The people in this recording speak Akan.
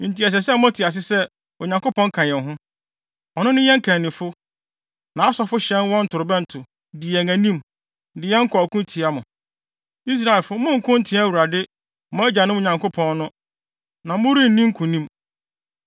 Enti ɛsɛ sɛ mote ase sɛ Onyankopɔn ka yɛn ho. Ɔno ne yɛn kannifo. Nʼasɔfo hyɛn wɔn torobɛnto, di yɛn anim, de yɛn kɔ ɔko tia mo. Israelfo, monnko ntia Awurade, mo agyanom Nyankopɔn no, na morenni nkonim.”